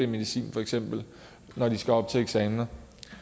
medicin for eksempel når de skal op til eksamen